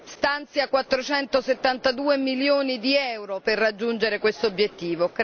Stanzia 472 milioni di euro per raggiungere questo obiettivo.